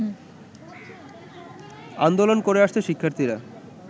আন্দোলন করে আসছে শিক্ষার্থীরা